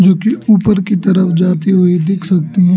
जो कि ऊपर की तरफ जाती हुई दिख सकती हैं।